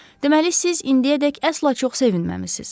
Deməli siz indiyədək əsla çox sevinməmisiz.